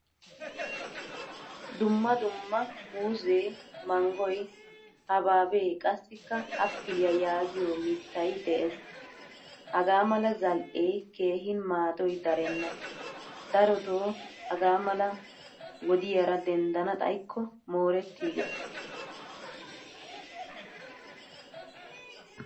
Dumma dumma muuzzee, manggoy, habihabe, qassikka appiliyaa yaagiyo mittay de'ees. Hagaamala zal'e keehin maaddoy darenna. Daroto hagaamale wodiyaara denddana xayikko moretti gees.